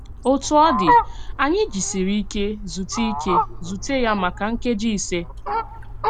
Òtù ọ dị̀, ányì jìsìrì íké zùtè íké zùtè ya màkà nkèjì ìsè.